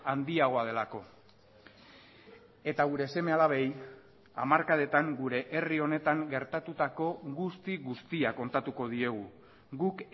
handiagoa delako eta gure seme alabei hamarkadetan gure herri honetan gertatutako guzti guztia kontatuko diegu guk